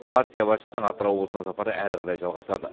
партия басшысының атырау облысына сапары әрі қарай жалғасады